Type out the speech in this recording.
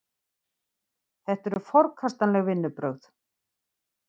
Þetta eru forkastanleg vinnubrögð